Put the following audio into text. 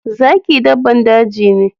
Zaki daban daji ne.